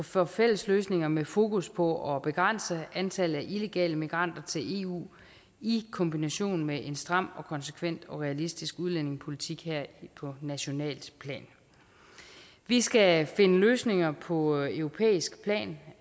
for fælles løsninger med fokus på at begrænse antallet af illegale immigranter til eu i kombination med en stram og konsekvent og realistisk udlændingepolitik på nationalt plan vi skal finde løsninger på europæisk plan